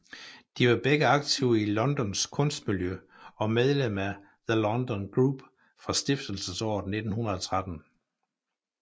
De var begge aktive i Londons kunstmiljø og medlemmer af The London Group fra stiftelsesåret 1913